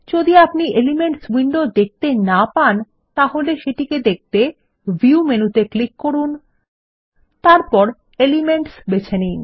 যদি আপনি elements window দেখতে না পান তাহলে সেটিকে দেখতে ভিউ মেনুতে ক্লিক করুন তারপর এলিমেন্টস বেছে নিন